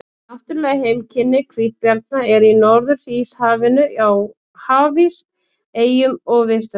Náttúruleg heimkynni hvítabjarna eru í Norður-Íshafinu, á hafís, eyjum og við strendur.